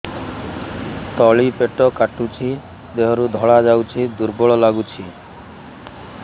ତଳି ପେଟ କାଟୁଚି ଦେହରୁ ଧଳା ଯାଉଛି ଦୁର୍ବଳ ଲାଗୁଛି